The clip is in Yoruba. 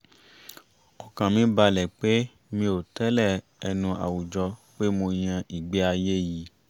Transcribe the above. ọkàn mi balẹ̀ pé mi ò tẹ́lẹ̀ ẹnu àwùjọ pé mo yan ìgbé-ayé iyì